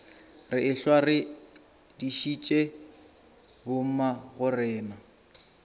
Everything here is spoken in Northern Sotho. re ehlwa re dišitše bommagorena